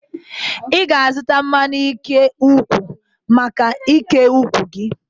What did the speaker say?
Ị ga-azụta mmanụ ike ụkwụ maka ike ụkwụ gị.